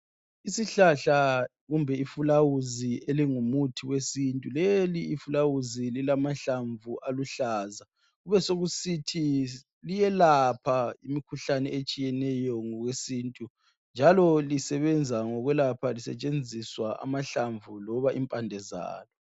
Isihlahla kumbe ifulawuzi elingumuthi wesintu leli ifulawuzi lilamahlamvu aluhlaza kube sokusithi liyelapha imikhuhlane etshiyeneyo ngokwesintu njalo lisebenza ngokwelapha lisetshenziswa amahlamvu loba impande zalo